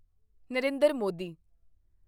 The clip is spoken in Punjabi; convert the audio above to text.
ਨਰਿੰਦਰ ਮੋਦੀ